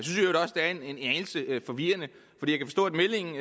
det er en anelse forvirrende fordi